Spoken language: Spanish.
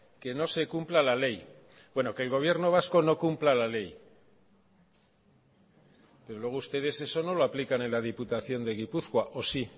que no se cumpla la ley bueno que el gobierno vasco no cumpla la ley desde luego ustedes eso no lo aplican en la diputación de gipuzkoa o sí